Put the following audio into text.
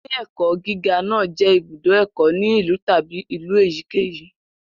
Ilé-ẹ̀kọ́ gíga náà jẹ́ ibùdó ẹ̀kọ́ ní ìlú tàbí ìlú èyíkéyìí.